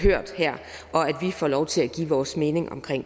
får lov til at give vores mening om